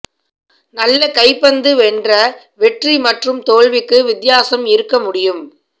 நல்ல கைப்பந்து வென்ற வெற்றி மற்றும் தோல்விக்கு வித்தியாசம் இருக்க முடியும்